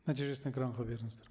нәтижесін экранға беріңіздер